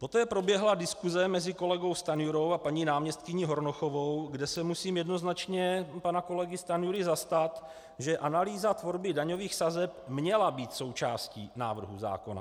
Poté proběhla diskuse mezi kolegou Stanjurou a paní náměstkyní Hornochovou, kde se musím jednoznačně pana kolegy Stanjury zastat, že analýza tvorby daňových sazeb měla být součástí návrhu zákona.